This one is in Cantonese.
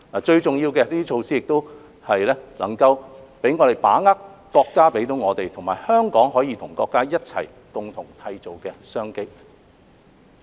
最重要的是，這些措施能讓我們把握國家給予我們，以及香港可以跟國家一起共同締造的商機。